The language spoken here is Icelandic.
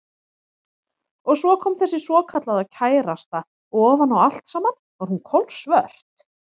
Og svo kom þessi svokallaða kærasta og ofan á allt saman var hún kolsvört.